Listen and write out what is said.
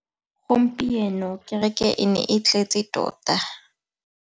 Gompieno kêrêkê e ne e tletse tota.